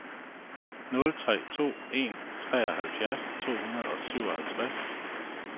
nul tre to en treoghalvfjerds to hundrede og syvoghalvtreds